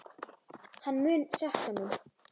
Hann mun sakna mín.